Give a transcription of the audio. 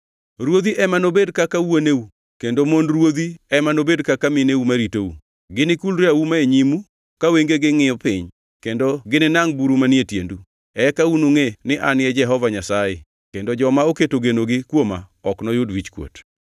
Ruodhi ema nobed kaka wuoneu kendo mond ruodhi ema nobed kaka mineu ma ritou. Ginikulre auma e nyimu ka wengegi ngʼiyo piny; kendo gininangʼ buru manie tiendu. Eka unungʼe ni An e Jehova Nyasaye kendo joma oketo genogi kuoma ok noyud wichkuot.”